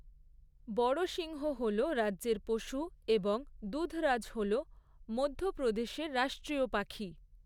বড়সিংহ হল রাজ্যের পশু এবং দুধরাজ হল মধ্যপ্রদেশের রাষ্ট্রীয় পাখি।